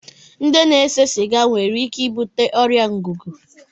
Ndị na-ese siga nwere ike ibute ọrịa ngụgụ